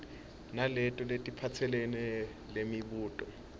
naleto letisephepheni lemibuto